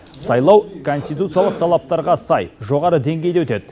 сайлау конституциялық талаптарға сай жоғары деңгейде өтеді